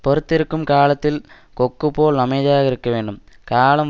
பொறுத்திருக்கும் காலத்தில் கொக்குப் போல் அமைதியாக இருக்க வேண்டும் காலம்